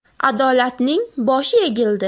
Adolatning boshi egildi.